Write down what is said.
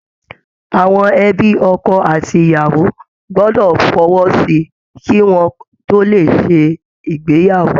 Àwọn ẹ̀bi ọkọ àti iyàwó gbọdọ̀ fọwọ́ sí i kí wọ́n tó lè ṣe ìgbéyàwó